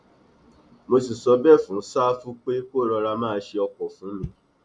mo sì sọ bẹẹ fún ṣáfù pé kó rọra máa ṣe ọkọ fún mi